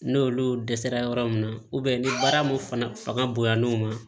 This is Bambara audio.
N'olu dɛsɛra yɔrɔ mun na ni baara mun fanga bonyana o ma